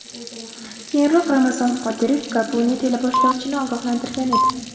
Keyinroq Ramzan Qodirov Gabuniya teleboshlovchini ogohlantirgan edi .